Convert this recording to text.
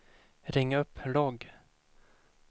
ring upp logg